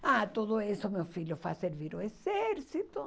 Ah, tudo isso, meu filho, vá fazer vir o exército.